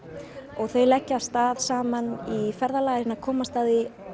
þau leggja af stað saman í ferðalag reyna að komast að því